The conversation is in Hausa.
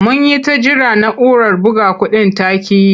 Mun yi ta jira na'urar buga kuɗin ta ƙi yi.